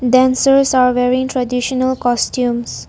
Dancers are wearing traditional costumes.